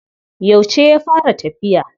Yauce ya fara tafiya.